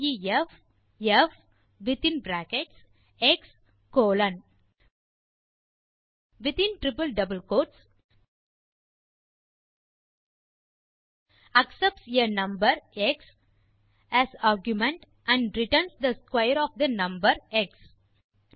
def f within bracket x colon accepts a number x as argument and returns the square of the number X